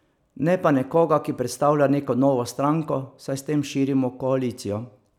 Ne pa nekoga, ki predstavlja neko novo stranko, saj s tem širimo koalicijo.